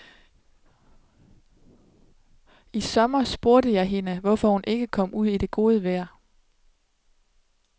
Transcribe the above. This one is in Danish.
I sommer spurgte jeg hende, hvorfor hun ikke kom ud i det gode vejr.